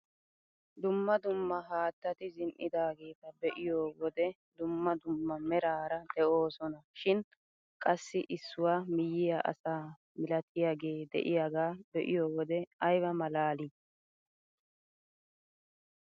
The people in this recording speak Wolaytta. Dumma dumma haattati zin"idaageta be'iyoo wode dumma dumma merara de'oosona shin qassi issuwaa miyiyaa asaa milatiyaage de'iyaaga be'iyoo wode ayba malalii!